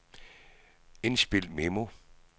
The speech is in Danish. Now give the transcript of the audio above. indspil memo